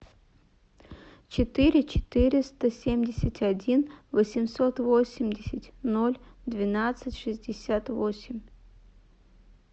четыре четыреста семьдесят один восемьсот восемьдесят ноль двенадцать шестьдесят восемь